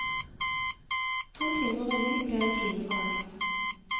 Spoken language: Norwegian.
To timer revy ble en time for langt.